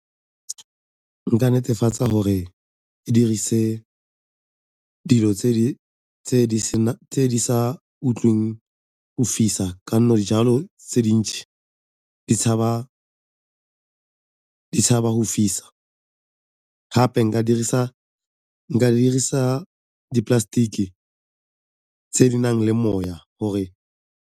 Nka netefatsa gore ke dirise dilo tse di sa utlweng go fisa ka 'onne jalo tse dintsi di tshaba go fisa, gape nka dirisa di-plastic-ke tse di nang le moya gore.